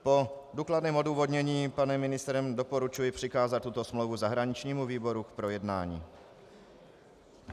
Po důkladném odůvodnění panem ministrem doporučuji přikázat tuto smlouvu zahraničnímu výboru k projednání.